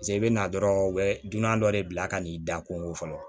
pase i be na dɔrɔn u be dunan dɔ de bila ka n'i da ko fɔlɔ